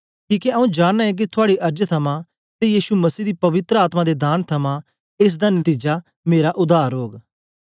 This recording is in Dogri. किके आऊँ जानना ऐ के थुआड़ी अर्ज थमां ते यीशु मसीह दी पवित्र आत्मा दे दान थमां एस दा नतीजा मेरा उद्धार ओग